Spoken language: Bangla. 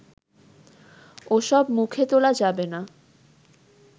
ওসব মুখে তোলা যাবে না